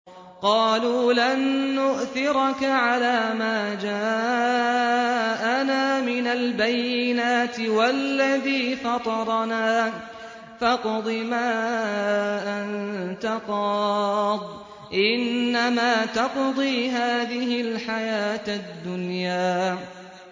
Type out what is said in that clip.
قَالُوا لَن نُّؤْثِرَكَ عَلَىٰ مَا جَاءَنَا مِنَ الْبَيِّنَاتِ وَالَّذِي فَطَرَنَا ۖ فَاقْضِ مَا أَنتَ قَاضٍ ۖ إِنَّمَا تَقْضِي هَٰذِهِ الْحَيَاةَ الدُّنْيَا